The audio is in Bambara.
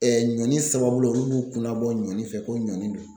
ɲɔni sababula olu b'u kunnabɔ ɲɔni fɛ ko ɲɔni do.